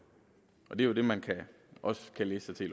er jo det man også kan læse sig til